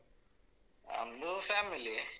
ನಮ್ದು ಫ್ಯಾಮಿಲಿಯೇ.